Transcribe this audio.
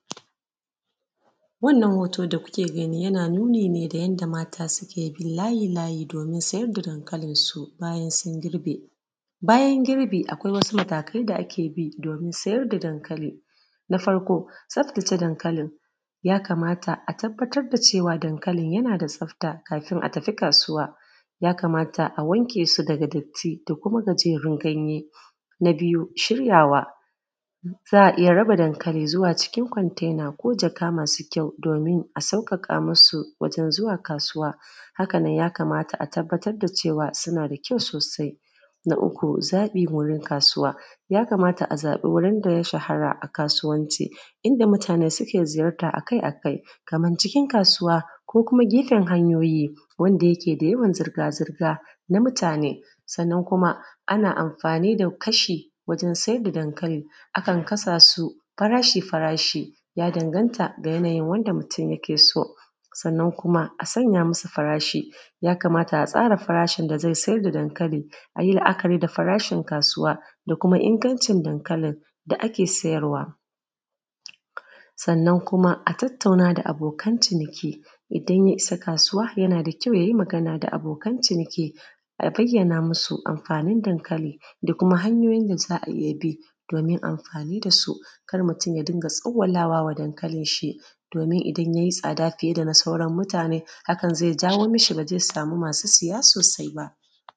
Wannan hoto da kuke gani yana nuni da yanda mata suke bin layi-layi domin sayar da dankalinsu bayan sun girbe. Bayan girbi akwai wasu matakai da ake bi domin sayar da dankali. Na farko tsaftace dankalin, yakamata a tabbatar da cewa dankalin yana da tsafta kafin a tafi kasuwa, yakamata a wanke su daga datti dakuma gajerun ganye. Na biyu shiryawa, za a iya raba dankali zuwa cikin contena ko jaka masu kyau, domin a sauƙaƙa masu zuwa kasuwa, haka nan yakamata a tabbatar da cea suna da kyau sosai. Na uku zaɓi wurin kasuwa, yakamata a zaɓa wurin da ya shahara a kasuwanci, inda mutane suke ziyarta a kai a kai, Kaman cikin kasuwa ko kuma gefen hanyoyi, wanda yake da yawon zirga zirga na mutane. Sannan kuma ana amfani da kasha wajen sayar da gankali, akan kasa su farashi farashi, yadanganta ga wanda mutum yake so, sannan kuma asa masa farashi, yakamata a tsara farashin da zai sayar da dankali. Yi la’akari ga farashin kasuwa da kuma ingancin dankalin da ake sayarwa, sannan kuma a tattauna da abokan ciniki, idan ya isa kasuwa yana da kyau yay i magana da abokan ciniki, a bayyana masu amfanin dankali da kuma hanyoyin da za a iya bi wajen amfani da su. Kar mutum ya dinga tsawwalawa dankalin shi, domin idan yay i tsada fiye da na sauran mutane hakan zai jawo mashi ba zai samu masu saya sosai ba.